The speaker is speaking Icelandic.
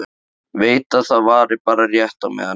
Veit að það varir bara rétt á meðan hann mígur.